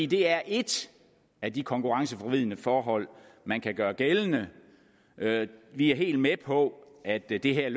det er et af de konkurrenceforvridende forhold man kan gøre gældende vi er helt med på at det det her